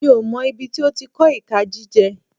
Mi ò mọ̀ ibi tí ó ti kọ́ ìka jíjẹ.